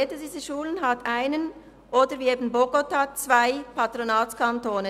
Jede dieser Schulen hat einen oder – wie eben jene in Bogotá – zwei Patronatskantone.